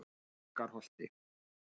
Borgarholti